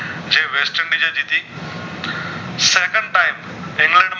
men